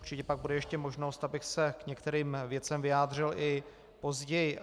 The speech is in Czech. Určitě pak bude ještě možnost, abych se k některým věcem vyjádřil i později.